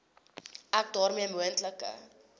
ek daarmee moontlike